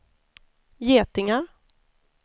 getingar